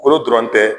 Kolo dɔrɔn tɛ